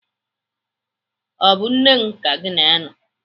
Ọ bụ nne gị ka gị na ya nọ?